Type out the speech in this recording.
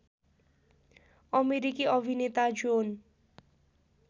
अमेरिकी अभिनेता जोन